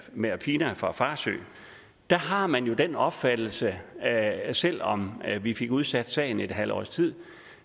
med aphinya fra farsø har man den opfattelse at selv om vi fik udsat sagen et halvt års tid